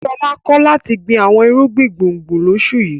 Ṣọlá kọ̀ láti gbin àwọn irúgbìn gbùngbùn lóṣù yìí.